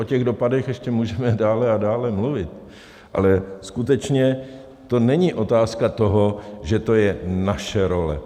O těch dopadech ještě můžeme dál a dál mluvit, ale skutečně to není otázka toho, že to je naše role.